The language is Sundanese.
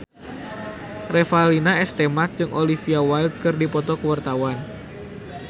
Revalina S. Temat jeung Olivia Wilde keur dipoto ku wartawan